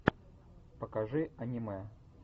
покажи аниме